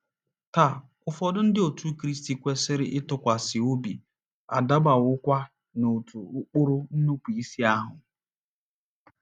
Taa, ụfọdụ Ndị Otú Kristi kwesịrị ntụkwasị obi adabawokwa n'otu ụkpụrụ nnupụisi ahụ.